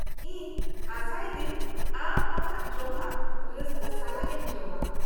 -ᱤᱧ ᱟᱥᱟ ᱤᱫᱟᱹᱧ ᱟᱢ ᱟᱢᱟᱜ ᱡᱚᱢᱟᱜ ᱨᱟᱹᱥᱠᱟᱹ ᱥᱟᱞᱟᱜ ᱮᱢ ᱡᱚᱢᱟ ᱾